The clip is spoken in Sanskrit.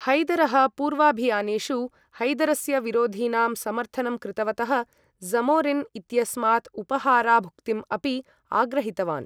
हैदरः, पूर्वाभियानेषु हैदरस्य विरोधिनां समर्थनं कृतवतः ज़मोरिन् इत्यस्मात् उपहाराभुक्तिम् अपि आग्रहितवान्।